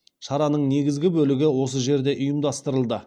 шараның негізгі бөлігі осы жерде ұйымдастырылды